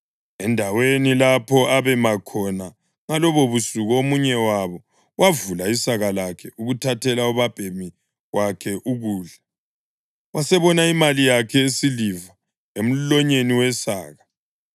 Endaweni lapho abema khona ngalobubusuku omunye wabo wavula isaka lakhe ukuthathela ubabhemi wakhe ukudla, wasebona imali yakhe yesiliva emlonyeni wesaka.